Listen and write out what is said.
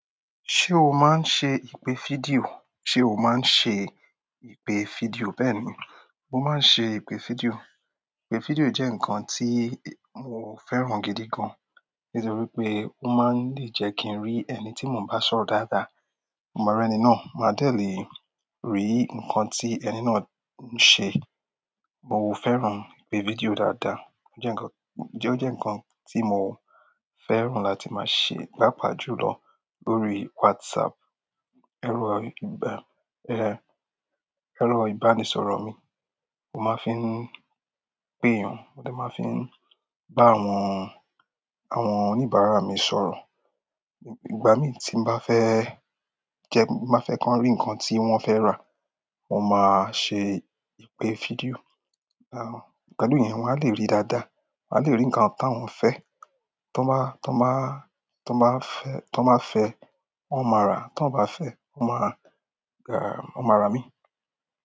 Ṣé o máa ń ṣe ìpè fídíò? Ṣé o máa ń ṣe ìpè fídíò? Bẹ́ẹ̀ni, mo máa ń ṣe ìpè fídíò. Ìpè fídíò jẹ́ nǹkan tí mo fẹ́ràn gidi gan-an, nítorí pé ó máa ń lè jẹ́ kí n rí ẹni tí mo n bá sọ̀rọ̀ dáadáa. Mo ma ri ẹni náà, màá dé lè rí nǹkan tí ẹni náà ń ṣe. Mo fẹ́ràn ìpè fídíò dáadáa. Ó jẹ́ ǹkan, ó jẹ́ ǹkan tí mo fẹ́ràn láti máa ṣe, pápa jù lọ lórí WhatsApp. Ẹ̀rọ ìbá, ẹh, ẹ̀rọ ìbánisọ̀rọ̀ mi mo máa ń fi pè éyàn, mo dè máa ń fi n bá àwọn, àwọn oníbàárà mi sọ̀rọ̀. Ìgbà mi ti n ba fe je, ti ba fe ki won ri nkan ti won fe ra, mo maa se ipee video. Àán, pẹ̀lú yẹn wọ́n á lè rí dáadáa. Wa le ri nkan t'awon fe, t'on ba fe, won maa ra, ti won ba a fe, won ma ra imii.